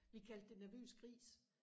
vi kaldte det nervøs gris